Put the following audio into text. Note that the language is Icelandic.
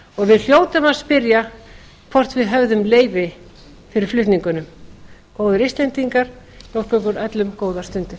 við hljótum að spyrja hvort við höfðum leyfi fyrir flutningunum góðir íslendingar ég óska ykkur öllum góðra stunda